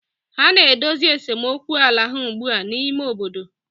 ha na-edozi esemokwu ala ha ugbu a n'ime obodo.